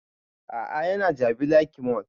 A'a ya na jabi lake mall